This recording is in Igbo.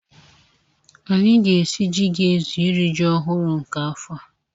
Anyị ga-esi ji ga-ezu iri ji ọhụrụ nke afọ a.